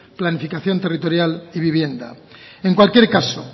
planificación territorial y vivienda en cualquier caso